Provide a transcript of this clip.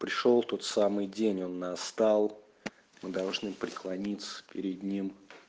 пришёл тот самый день он настал мы должны преклониться перед ним